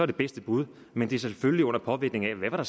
det bedste bud men det er selvfølgelig under påvirkning af hvad der